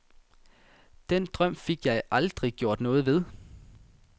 Den drøm fik jeg aldrig gjort noget ved.